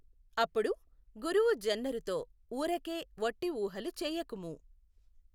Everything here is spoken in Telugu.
అప్పుడు గురువు జెన్నరుతో వూరకే వట్టిఊహలు చేయకుము.